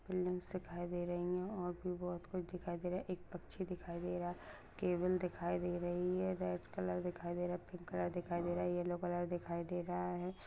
Building दिखाई दे रही है और भी बहुत कुछ दिखाई दे रहा है एक पक्षी दिखाई दे रहा है केविल दिखाई दे रही है रेड कलर दिखाई दे रहा है पिंक कलर दिखाई दे रहा है येलो कलर दिखाई दे रहा है।